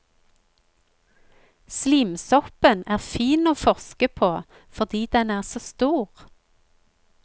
Slimsoppen er fin å forske på fordi den er så stor.